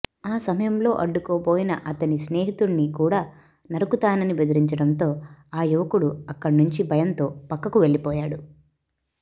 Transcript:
ఆసమయంలో అడ్డుకోబోయిన అతని స్నేహితుడ్ని కూడా నరుకుతానని బెదిరించడంతో ఆ యువకుడు అక్కడ నుంచి భయంతో పక్కకు వెళ్లిపోయాడు